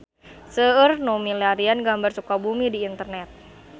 Seueur nu milarian gambar Sukabumi di internet